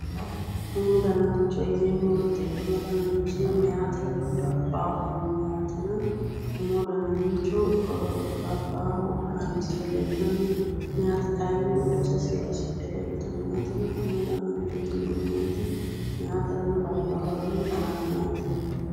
Umu dananicho yineemo woyite umu dananichi meyateranno labbaahurano no yaatena umu dananicho labaahu haranisre leelanno meyaati kayinni umose seedisidhe leelitanno yaatena umu dananichooti yineemo woyite meyateranno labbaahurano heeranno yaate